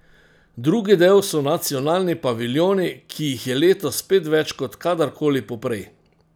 Drugi del so nacionalni paviljoni, ki jih je letos spet več kot kadarkoli poprej.